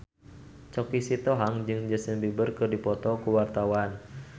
Choky Sitohang jeung Justin Beiber keur dipoto ku wartawan